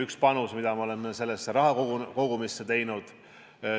Üks on panus, mida me oleme sellesse rahakogumisse teinud.